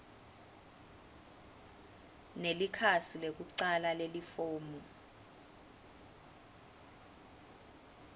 nelikhasi lekucala lelifomu